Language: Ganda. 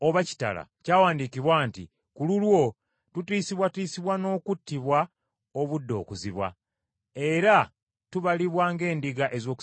Kyawandiikibwa nti: “Ku lulwo tutiisibwatiisibwa n’okuttibwa obudde okuziba, era tubalibwa ng’endiga ez’okusalibwa.”